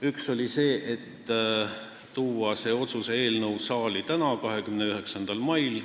Üks ettepanek oli tuua see otsuse eelnõu saali tänaseks, 29. maiks.